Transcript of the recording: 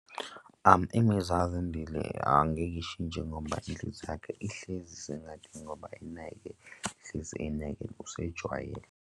Imizwa kaZandile angeke ishintshe ngoba inhliziyo yakhe ihlezi isengadini ngoba imnene, hlezi imnene usejwayele.